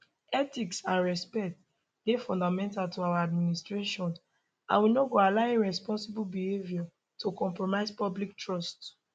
ethics and respect dey fundamental to our administration and we no go allow irresponsible behaviour to compromise public trust